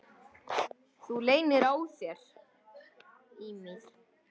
Þú leynir á þér!